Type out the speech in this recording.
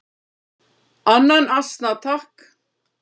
"""Annan asna, takk!"""